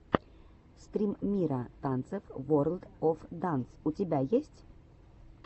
стрим мира танцев ворлд оф данс у тебя есть